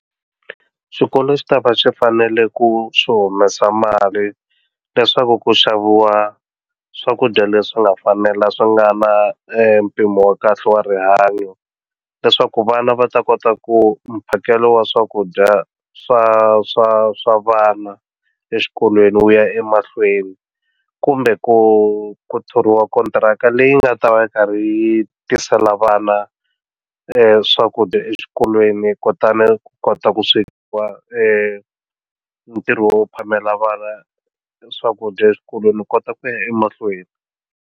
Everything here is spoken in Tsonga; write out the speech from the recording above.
Swikolo swi tava swi fanele ku swi humesa mali leswaku ku xaviwa swakudya leswi nga fanela swi nga na empimo wa kahle wa rihanyo leswaku vana va ta kota ku mphakelo wa swakudya swa swa swa vana eswikolweni wu ya emahlweni kumbe ku ku thoriwa kontiraka leyi nga ta va karhi yi tisela vana swakudya exikolweni kutani ku kota ku swekiwa ka ntirho wo phamela vana swakudya eswikolweni ni kota ku ya emahlweni.